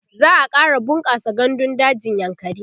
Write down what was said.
za'a ƙara bunƙasa gandun dajin yankari